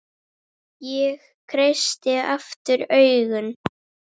Ég kreisti aftur augun.